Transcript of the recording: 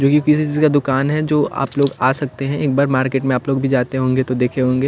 यही किसी चीज़ का दूकान है जो आप लोग आ सकते हैं एक बार मार्केट में आप लोग भी जाते होंगे तो देखे होंगे।